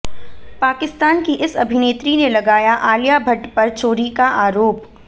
पाकिस्तान की इस अभिनेत्री ने लगाया आलिया भट्ट पर चोरी का आरोप